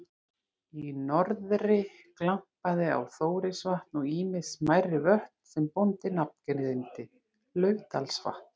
Í norðri glampaði á Þórisvatn og ýmis smærri vötn sem bóndinn nafngreindi: Laufdalsvatn